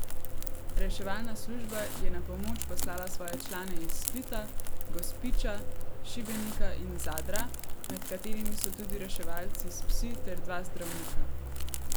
Reševalna služba je na pomoč poslala svoje člane iz Splita, Gospića, Šibenika in Zadra, med katerimi so tudi reševalci s psi ter dva zdravnika.